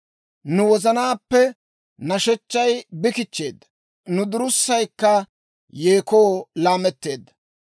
Nu wozanaappe nashechchay bi kichcheedda; nu durussaykka yeekoo laametteedda;